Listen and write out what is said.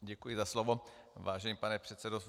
Děkuji za slovo, vážený pane předsedo.